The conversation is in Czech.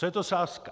Co je to sázka?